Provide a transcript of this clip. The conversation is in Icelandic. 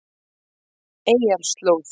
Eyjarslóð